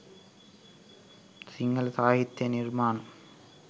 සිංහල සාහිත්‍ය නිර්මාණ